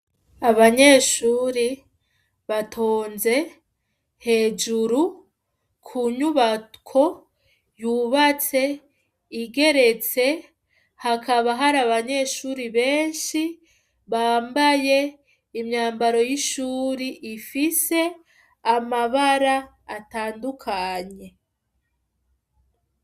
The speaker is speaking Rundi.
Abanyeshure batonze hejuru ku nyubako yubatse igeretse, hakaba hari abanyeshure benshi bambaye imyambaro y'ishuri ifise amabara atandukanye.